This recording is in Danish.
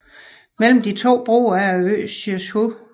Mellem de to broer er øen Siyezhou